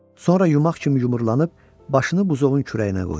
Sonra yumaq kimi yumrulanıb başını buzovun kürəyinə qoydu.